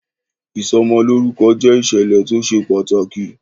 Ìsọ'mọlórúkọ jẹ ìṣẹ̀lẹ̀ tó ṣe pàtàkì